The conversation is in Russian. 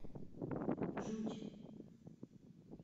жуть